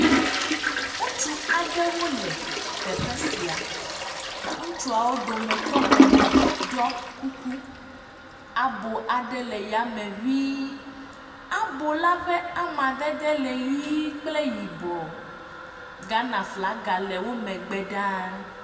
Ŋutsu aɖewo le teƒe sia. Ŋutsuawo dometɔ ene ɖiɔ kuku. Abo aɖe le yame ŋii. Abo la ƒe amadede le ʋi kple yibɔ. Ghanaflaga le wo megbe ɖaa.